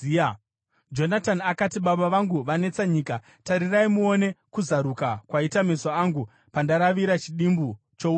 Jonatani akati, “Baba vangu vanetsa nyika. Tarirai muone kuzaruka kwaita meso angu pandaravira chidimbu chouchi uhu.